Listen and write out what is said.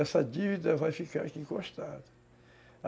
Essa dívida vai ficar aqui encostada.